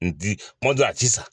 Ndi kuma dɔ a ti san